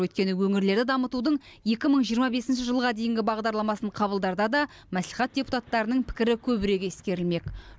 өйткені өңірлерді дамытудың екі мың жиырма бесінші жылға дейінгі бағдарламасын қабылдарда да мәслихат депутаттарының пікірі көбірек ескерілмек